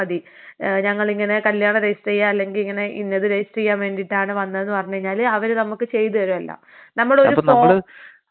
ഏഹ് ഞങ്ങളിങ്ങനെ കല്യണം രജിസ്റ്റർ ചെയ്യാ അല്ലെങ്കി ഇങ്ങനെ ഇന്നത് രജിസ്റ്റർ ചെയ്യാൻ വേണ്ടീട്ടാണ് വന്നത് എന്ന് പറഞ് കഴിഞ്ഞാല് അവര് നമുക്ക് ചെയ്ത് തരും എല്ലാം. നമ്മളൊരു *നോട്ട്‌ ക്ലിയർ* ആ.